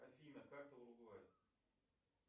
афина карта уругвай